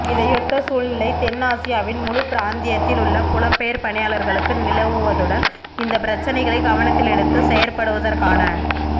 இதையொத்த சூழ்நிலை தென் ஆசியாவின் முழுப் பிராந்தியத்தில் உள்ள புலம்பெயர் பணியாளர்களுக்கு நிலவுவதுடன் இந்தப் பிரச்சனைகளைக் கவனத்தில் எடுத்து செயற்படுவதற்கான